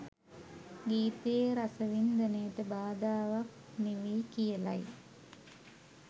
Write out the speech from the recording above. ගීතයේ රසවින්දනයට බාධාවක් නෙවෙයි කියලයි.